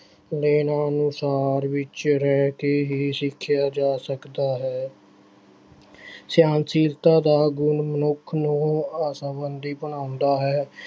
ਅਨੁਸਾਰ ਵਿੱਚ ਰਹਿ ਕੇ ਹੀ ਸਿੱਖਿਆ ਜਾ ਸਕਦਾ ਹੈ ਸਹਿਣਸ਼ੀਲਤਾ ਦਾ ਗੁਣ ਮਨੁੱਖ ਨੂੰ ਆਸ਼ਾਵਾਦੀ ਬਣਾਉਂਦਾ ਹੈ।